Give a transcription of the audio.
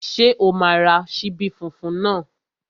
Ṣé o máa ra ṣíbí funfun náà?